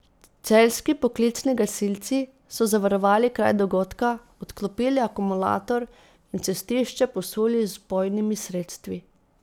Celjski poklicni gasilci so zavarovali kraj dogodka, odklopili akumulator in cestišče posuli z vpojnimi sredstvi.